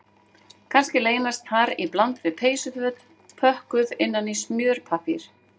Kannski leynast þar í bland við peysuföt pökkuð innan í smjörpappír